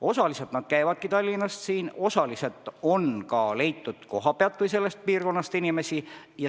Osaliselt nad käivadki Tallinnast tööl, osa inimesi on ka leitud kohapealt või sellest piirkonnast.